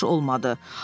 Yaxşı olmadı.